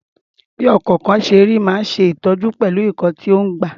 Bí ọkọ̀kan ṣe rí máa ń ní ṣe pẹ̀lú ìtọ̀jú tó ń gbà.